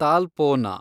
Talpona